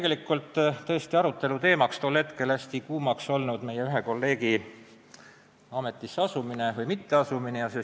Meil kerkis arutelu teemaks tol hetkel hästi kuumaks muutunud küsimus, mis oli seotud ühe meie kolleegi ametisse asumise või mitteasumisega.